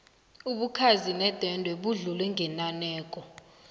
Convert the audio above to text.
ubukhazi nedwendwe budlule ngenaneko